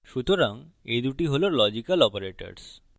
সুতরাং এই দুটি হল লজিক্যাল operators